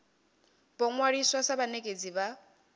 vho ṅwaliswa sa vhanekedzi vha